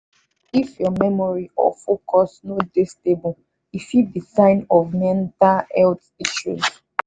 if your memory or focus no dey stable e fit be sign of mental health issue.